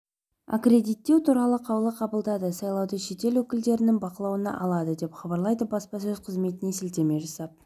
аккредиттеу туралы қаулы қабылдады сайлауды шетел өкілдері бақылауына алады деп хабарлайды баспасөз қызметіне сілтеме жасап